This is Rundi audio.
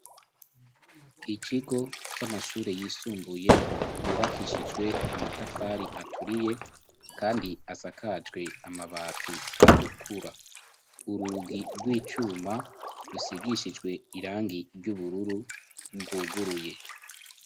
ikigo c'amashuri yisumbuye yubakishijwe amatafari aturiye kandi asakajwe amabati atukura urugi rw'icuma rusigishijwe irangi ry'ubururu rwuguruye.